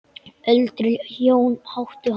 Öldruð hjón áttu hann.